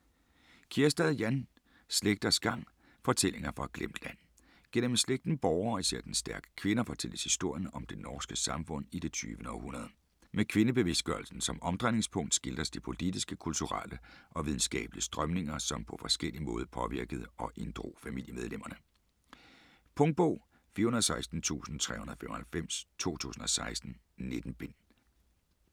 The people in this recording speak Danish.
Kjærstad, Jan: Slægters gang: fortællinger fra et glemt land Gennem slægten Bohre og især dens stærke kvinder fortælles historien om det norske samfund i det 20. århundrede. Med kvindebevidstgørelsen som omdrejningspunkt skildres de politiske, kulturelle og videnskabelige strømninger som på forskellig måde påvirkede og inddrog familiemedlemmerne. Punktbog 416395 2016. 19 bind.